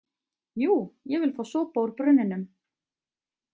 Jú, ég vil fá sopa úr brunninum!